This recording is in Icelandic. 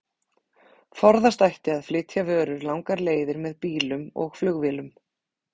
Forðast ætti að flytja vörur langar leiðir með bílum og flugvélum.